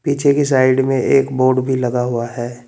पीछे की साइड में एक बोर्ड भी लगा हुआ है।